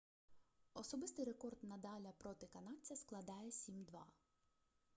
особистий рекорд надаля проти канадця складає 7-2